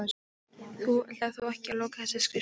Þú ætlar þó ekki að loka þessari skrifstofu?